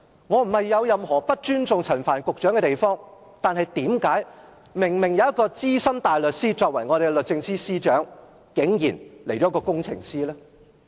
我沒有任何不尊重陳帆局長的意思，但既然有一名資深大律師擔任我們的律政司司長，為何現在竟然來了一名工程師呢？